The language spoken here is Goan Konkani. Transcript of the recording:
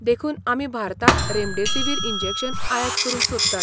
देखून आमी भारतांत रेमडेसिवीर इंजेक्शन आयात करूंक सोदतात.